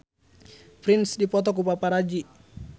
Prince dipoto ku paparazi